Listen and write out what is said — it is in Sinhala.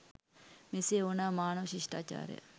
මෙසේ ඕනෑම මානව ශිෂ්ටාචාරයක්